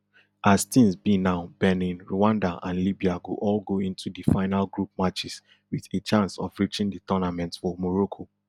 as tins be now benin rwanda and libya go all go into di final group matches wit a chance of reaching di tournament for morocco